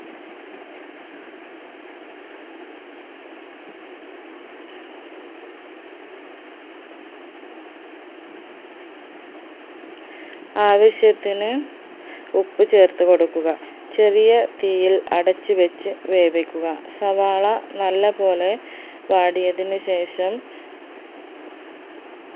ആവശ്യത്തിന് ഉപ്പ് ചേർത്ത് കൊടുക്കുക ചെറിയ തീയിൽ അടച്ചു വെച്ച് വേവിക്കുക സവാള നല്ല പോലെ വാഡിയത്തിനു ശേഷം